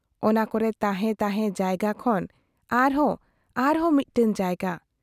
ᱚᱱᱟ ᱠᱚᱨᱮ ᱛᱟᱦᱮᱸ ᱛᱟᱦᱮᱸ ᱡᱟᱭᱜᱟ ᱠᱷᱚᱱ ᱟᱨᱦᱚᱸ ᱟᱨᱦᱚᱸ ᱢᱤᱫᱴᱟᱝ ᱡᱟᱭᱜᱟ ᱾